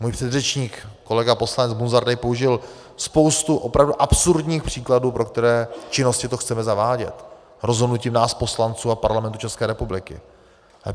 Můj předřečník kolega poslanec Munzar tady použil spoustu opravdu absurdních příkladů, pro které činnosti to chceme zavádět rozhodnutím nás, poslanců a Parlamentu České republiky.